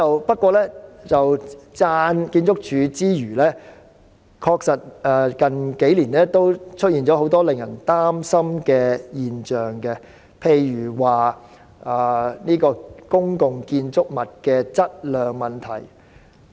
不過，在讚賞建築署之餘，近數年確實也出現很多令人擔心的現象，例如是公共建築物的質量問題。